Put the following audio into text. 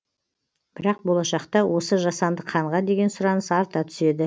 бірақ болашақта осы жасанды қанға деген сұраныс арта түседі